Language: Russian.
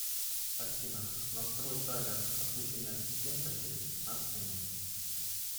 афина настрой таймер отключения ассистента через пятнадцать минут